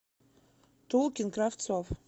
тулкин кравцов